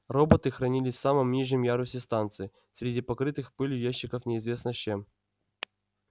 роботы хранились в самом нижнем ярусе станции среди покрытых пылью ящиков неизвестно с чем